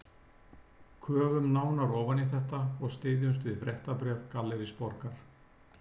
Köfum nánar ofan í þetta og styðjumst við fréttabréf Gallerís Borgar